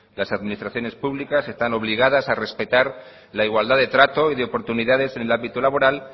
las administraciones públicas están obligadas a respetar la igualdad de trato y de oportunidades en el ámbito laboral